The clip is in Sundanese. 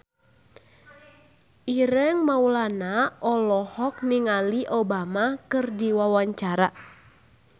Ireng Maulana olohok ningali Obama keur diwawancara